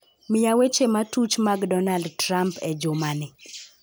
Miya weche matuch mag Donald Trump e jumani